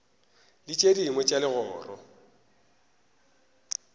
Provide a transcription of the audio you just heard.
le tše dingwe tša legoro